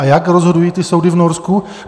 A jak rozhodují ty soudy v Norsku?